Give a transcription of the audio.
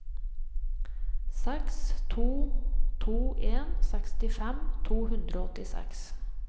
seks to to en sekstifem to hundre og åttiseks